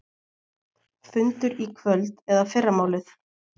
Fundur í kvöld eða fyrramálið